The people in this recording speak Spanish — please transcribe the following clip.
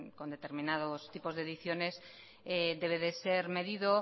con determinados tipos de ediciones debe de ser medido